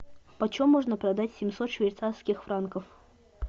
почем можно продать семьсот швейцарских франков